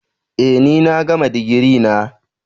Eh ni na gama digiri na.